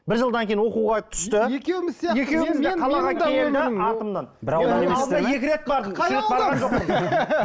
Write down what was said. бір жылдан кейін оқуға түсті екеуміз сияқты